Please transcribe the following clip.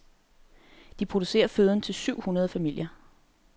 De producerer føden til syvhundrede familier.